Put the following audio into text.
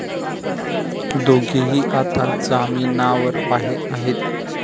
दोघेही आता जामीनावर बाहेर आहेत.